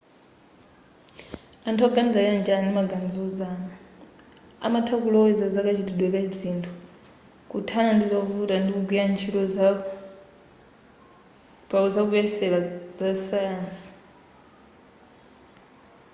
anthu oganiza chonchi ali ndi maganizo ozama amatha kuloweza zakachitikidwe ka zinthu kuthana ndi zovuta ndi kugwira ntchito pa zakuyesera za sayansi